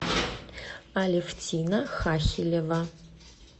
алевтина хахелева